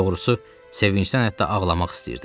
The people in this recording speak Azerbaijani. Doğrusu, sevincdən hətta ağlamaq istəyirdim.